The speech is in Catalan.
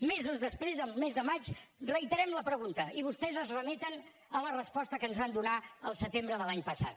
mesos després el mes de maig reiterem la pregunta i vostès es remeten a la resposta que ens van donar el setembre de l’any passat